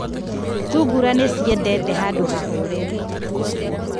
Thungura nĩ ciendete handũ hahoreru.